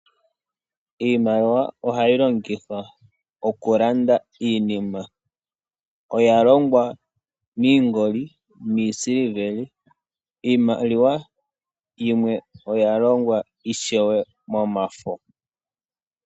Iimaliwa oha yi longithwa oku landa iinima. Oya longwa miingoli niisiliveli, iimaliwa yimwe oya longwa ishewe momafo.